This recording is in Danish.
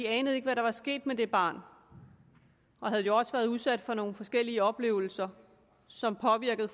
anede ikke hvad der var sket med det barn og havde jo også været udsat for nogle forskellige oplevelser som påvirkede